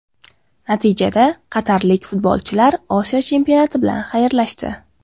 Natijada qatarlik futbolchilar Osiyo Chempionati bilan xayrlashdi.